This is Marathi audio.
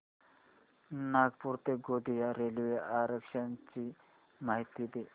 नागपूर ते गोंदिया रेल्वे आरक्षण ची माहिती दे